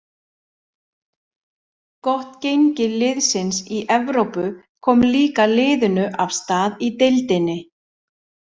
Gott gengi liðsins í Evrópu kom líka liðinu af stað í deildinni.